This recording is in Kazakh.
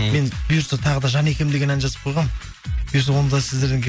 мен бұйыртса тағы да жан әкем деген ән жазып қойғанмын бұйырса оны сіздерден келіп